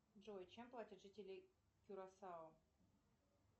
джой чем платят жители кюрасао